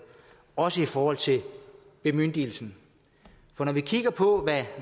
også i forhold til bemyndigelsen for når vi kigger på